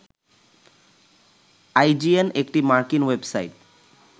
IGN একটি মার্কিন website